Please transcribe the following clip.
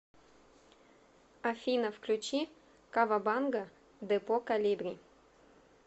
афина включи кавабанга депо колибри